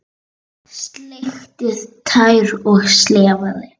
Sleikt tær og slefað.